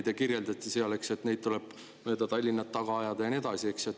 Te kirjeldasite, et neid tuleb mööda Tallinna taga ajada, ja nii edasi.